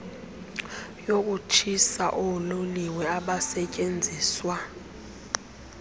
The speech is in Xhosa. yokutshisa oololiwe abasetyenziswa